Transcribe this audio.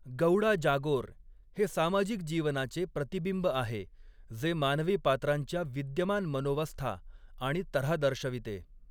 'गौडा जागोर' हे सामाजिक जीवनाचे प्रतिबिंब आहे, जे मानवी पात्रांच्या विद्यमान मनोवस्था आणि तऱ्हा दर्शविते.